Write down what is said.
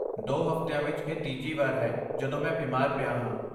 ਦੋ ਹਫ਼ਤਿਆਂ ਵਿੱਚ ਇਹ ਤੀਜੀ ਵਾਰ ਹੈ ਜਦੋਂ ਮੈਂ ਬਿਮਾਰ ਪਿਆ ਹਾਂ।